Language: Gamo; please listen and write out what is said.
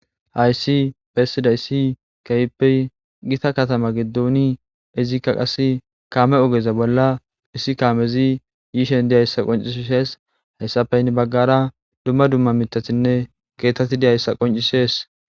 Hayisi besizayis kehippe gita katama gidoni izika qase kame ogeza bola issi kamezi yishe dizayisa qoncises hesape hini bagara dumma dumma mitatine keeththati deyaysa qoncises.